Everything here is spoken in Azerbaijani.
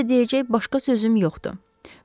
Sizə deyəcək başqa sözüm yoxdur.